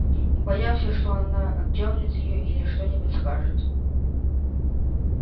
и боялся что она отдёрнет её или что-нибудь скажет